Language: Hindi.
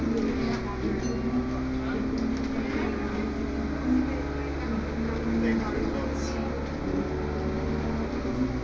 ये एक किचन है किचन का नजर आ रहे है जिसमे नीछे बहुत सारे केक नज़र आ रहे हैं।